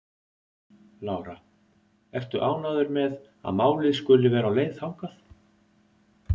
Lára: Ertu ánægður með að málið skuli vera á leið þangað?